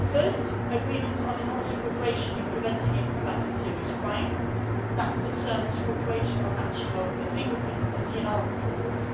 First, agreements on enhancing cooperation in preventing and combating serious crime that concerns cooperation on matching of fingerprints and DNA samples.